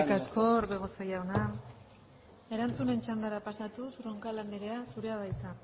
asko orbegozo jauna erantzun txandara pasatuz roncal anderea zurea da hitza